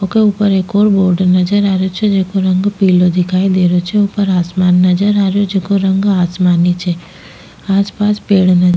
वोके ऊपर एक और बोर्ड नजर आ रेहो छे जेको रंग पीला दिखाई दे रेहो छे ऊपर आसमान नजर आ रेहो जेको रंग आसमानी छे आस पास पेड़ नजर --